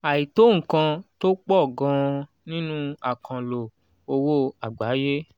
àìtó nǹkan tó pọ̀ gan-an nínú àkànlò owó àgbáyé.